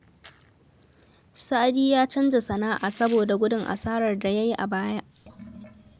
Sadi ya canza sana'a saboda gudun asarar da ya yi a baya